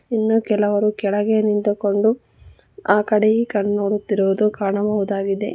ಇನ್ನು ಕೆಲವರು ಕೆಳಗೆ ನಿಂತುಕೊಂಡು ಆ ಕಡೆ ಈ ಕಡೆ ನೋಡುತ್ತಿರುವುದು ಕಾಣಬಹುದಾಗಿದೆ.